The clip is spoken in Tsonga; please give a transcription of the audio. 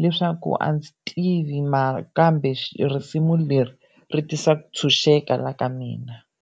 leswaku a ndzi tivi mara kambe risimu leri ri tisa ku tshunxeka la ka mina.